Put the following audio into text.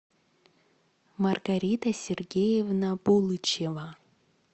маргарита сергеевна булычева